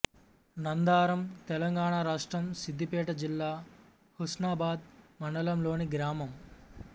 నందారం తెలంగాణ రాష్ట్రం సిద్దిపేట జిల్లా హుస్నాబాద్ మండలంలోని గ్రామం